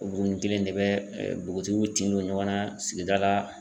O bugunin kelen de bɛ dugutigiw tin don ɲɔgɔn na sigida la.